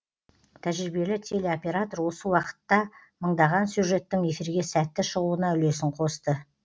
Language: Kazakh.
тәжірибелі телеоператор осы уақытта мыңдаған сюжеттің эфирге сәтті шығуына үлесін қосты